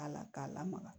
A la k'a lamaga